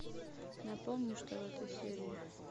напомни что в этой серии